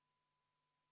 Helle-Moonika Helme!